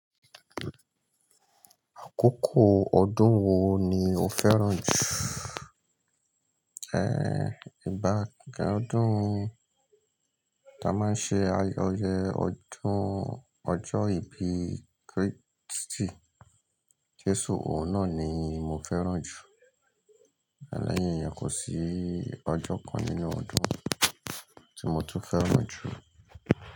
Àkókò ọdún wo ni o fẹ́ràn jù? Ìbàká ọdún ta a máa ń ṣe ayẹyẹ ọdún ọjọ́ ìbí Kíìrìsìtì Jésù, òun náà ni mo fẹ́ràn jù. Leyin iyen kò sí ọjọ́ kan nínú ọdún tí mo tún fẹ́ràn jù.